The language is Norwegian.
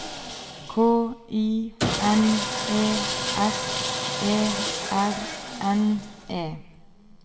K I N E S E R N E